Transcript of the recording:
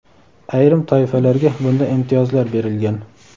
ayrim toifalarga bunda imtiyozlar berilgan.